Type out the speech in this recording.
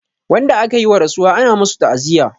Wanda akayi wa rasuwa ana masu ta'aziya